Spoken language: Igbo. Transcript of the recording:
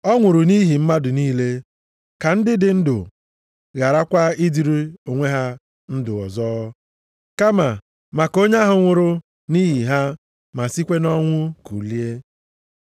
Ọ nwụrụ nʼihi mmadụ niile, ka ndị dị ndụ gharakwa ịdịrị onwe ha ndụ ọzọ, kama maka onye ahụ nwụrụ nʼihi ha ma sikwa nʼọnwụ kulie.